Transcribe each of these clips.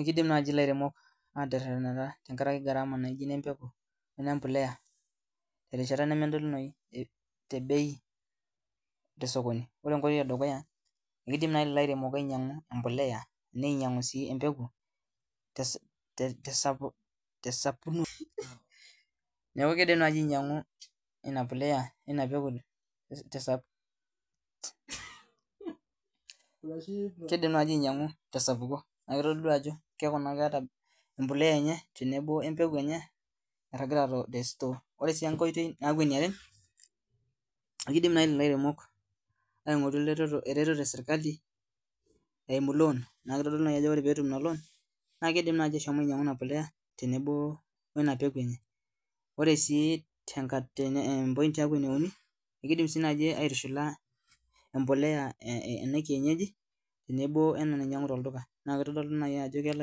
Ekidim naaji elairemok ataretetanata tenkaraki gharama embeku wene mbolea terishata nemedolunoi tee bei tee sokoni ore enkoitoi ee dukuya amu kidim naaji lelo airemok ainyiang'u embolea ninyiangu sii embeku tesapuko neeku kitodolu Ajo keeku keeta embolea enye tenebo embeku enye nairagita tee store ore enkoitoi naaji eniare kidim naaji leleo airemok aing'oru eretoto esirkali eyimu loan neeku kitodolu Ajo ore petum ena loan naa kidim naaji ashom ainyiang'u ena polea tenebo weina peku enye ore sii ene uni naa ekidim sii naaji aitushula embolea ena lekienyeji tenebo wena nainyiang'u tolduka neeku kitodolu naaji Ajo kelo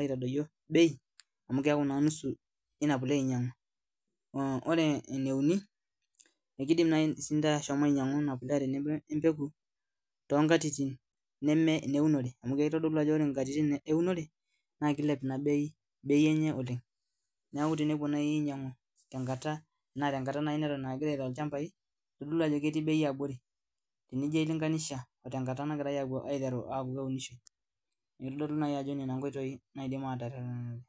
aitodoyie bei amu keeku nusu ena polea enyiangu or e ene uni ekidim naaji ashom ainyiang'u ena polea tenebo embeku too nkatitin neme neunore amu kitodolu Ajo ore nkatitin ewunore naa kilep ena bei enye oleng neeku tenepuo naaji tenakata naaji neton aa kegirai Aiko ilchambai kitodolu Ajo ketii[bei abori tenijo ailinganisha oo tenakata nagirai aiteru aku keunishoi neeku nendanajii nkoitoi naidim atereten olairemoni